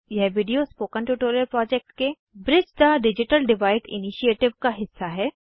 यह video spoken tutorial project के bridge the digital divide initiative का हिस्सा है